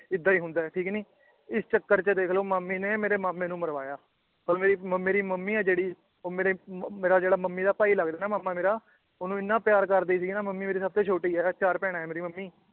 ਏਦਾਂ ਈ ਹੁੰਦਾ ਏ ਠੀਕ ਨੀ ਇਸ ਚੱਕਰ ਚ ਦੇਖਲੋ ਮਾਮੀ ਨੇ ਮੇਰੇ ਮਾਮੇ ਨੂੰ ਮਰਵਾਇਆ ਹੁਣ ਮੇਰੀ ਮ ਮੇਰੇ ਮਮ੍ਮੀ ਆ ਜਿਹੜੀ ਉਹ ਮੇਰੇ ਮੇਰਾ ਜਿਹੜਾ ਮਮ੍ਮੀ ਦਾ ਭਾਈ ਲੱਗਦਾ ਏ ਨਾ ਮਾਮਾ ਮੇਰਾ ਓਹਨੂੰ ਇਹਨਾਂ ਪਿਆਰ ਕਰਦੀ ਸੀ ਨਾ ਮਮ੍ਮੀ ਮੇਰੀ ਸਬਤੇ ਛੋਟੀ ਏ ਚਾਰ ਭੈਣਾਂ ਏ ਮੇਰੀ ਮਮ੍ਮੀ